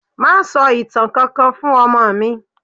Má sọ ìtàn kankan fún ọmọ mi.